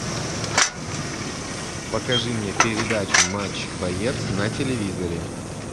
покажи мне передачу матч боец на телевизоре